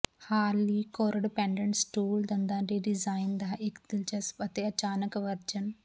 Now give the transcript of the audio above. ਹਾਲ ਲਈ corded padded stool ਦੰਦਾਂ ਦੇ ਡੀਜ਼ਾਈਨ ਦਾ ਇੱਕ ਦਿਲਚਸਪ ਅਤੇ ਅਚਾਨਕ ਵਰਜਨ